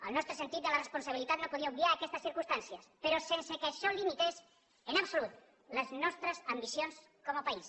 el nostre sentit de la responsabilitat no podia obviar aquestes circumstàncies però sense que això limités en absolut les nostres ambicions com a país